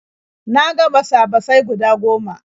Na ga basa-basai guda goma.